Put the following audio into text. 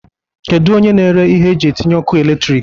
Kedu onye na-ere ihe eji etinye ọkụ elektrik?